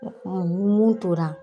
Mun y'o tora.